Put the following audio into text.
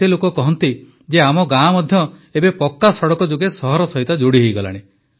କେତେ ଲୋକ କହନ୍ତି ଯେ ଆମ ଗାଁ ମଧ୍ୟ ଏବେ ପକ୍କା ସଡ଼କ ଯୋଗେ ସହର ସହିତ ଯୋଡ଼ି ହୋଇଗଲାଣି